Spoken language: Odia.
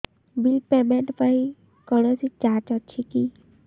ବିଲ୍ ପେମେଣ୍ଟ ପାଇଁ କୌଣସି ଚାର୍ଜ ଅଛି କି